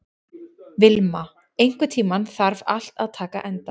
Vilma, einhvern tímann þarf allt að taka enda.